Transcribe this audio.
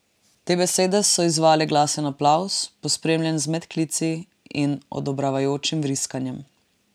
Te besede so izzvale glasen aplavz, pospremljen z medklici in odobravajočim vriskanjem.